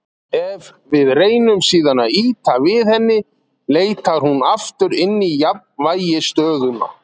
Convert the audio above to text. Ef við reynum síðan að ýta við henni leitar hún aftur inn í jafnvægisstöðuna.